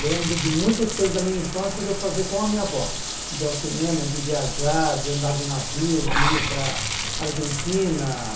Lembro de muitas coisas da minha infância de eu fazer com a minha avó, de ir ao cinema, de viajar, de andar de navio, de ir para a Argentina.